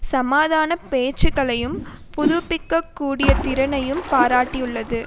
சமாதான பேச்சுக்களை புதுப்பிக்க கூடிய திறனையும் பாராட்டியுள்ளது